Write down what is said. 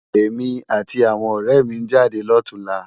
Emi áti áwòn òrè mi n jádé lòtúnlá